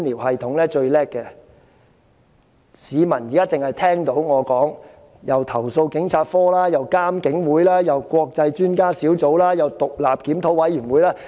市民現在聽我發言，會聽到既有投訴警察課，又有監警會，再有國際專家小組，後又有獨立檢討委員會。